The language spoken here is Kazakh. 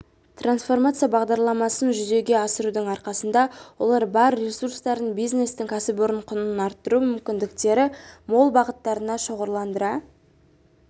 трансформация бағдарламасын жүзеге асырудың арқасында олар бар ресурстарын бизнестің кәсіпорын құнын арттыру мүмкіндіктері мол бағыттарына шоғырландыра